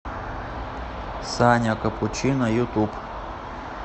саня капучино ютуб